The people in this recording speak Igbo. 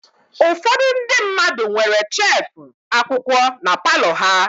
Ụfọdụ ndị mmadụ nwere shefu akwụkwọ na palọ ha.